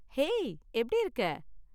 ஹே, எப்படி இருக்க?